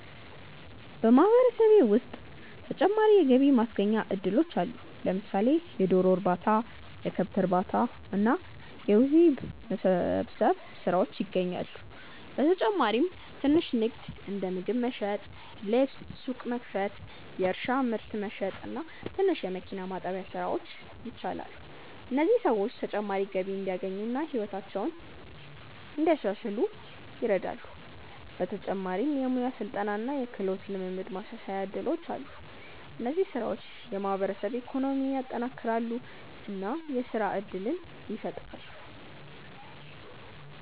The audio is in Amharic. በማህበረሰቤ ውስጥ ተጨማሪ የገቢ ማስገኛ እድሎች አሉ። ለምሳሌ የዶሮ እርባታ፣ የከብት እርባታ እና የውሂብ መሰብሰብ ስራዎች ይገኛሉ። በተጨማሪም ትንሽ ንግድ እንደ ምግብ መሸጥ፣ ልብስ ሱቅ መክፈት፣ የእርሻ ምርት መሸጥ እና ትንሽ የመኪና ማጠቢያ ስራዎች ይቻላሉ። እነዚህ ሰዎች ተጨማሪ ገቢ እንዲያገኙ እና ሕይወታቸውን እንዲያሻሽሉ ይረዳሉ። በተጨማሪም የሙያ ስልጠና እና የክህሎት ልምድ ማሻሻያ እድሎች አሉ። እነዚህ ስራዎች የማህበረሰብ ኢኮኖሚን ያጠናክራሉ እና የስራ እድል ይፈጥራሉ።